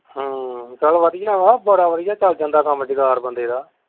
ਹਮ ਚੱਲ ਵਧੀਆ ਹੈ ਬੜਾ ਵਧੀਆ ਚੱਲ ਜਾਂਦਾ ਕੰਮ ਜੁਗਾੜ ਬੰਦੇ ਦਾ।